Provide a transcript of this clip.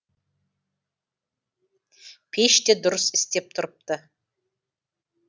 пеш те дұрыс істеп тұрыпты